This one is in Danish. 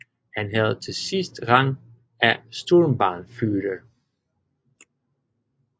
Han havde til sidst rang af Sturmbannführer